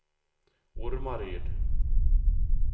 Ormaryd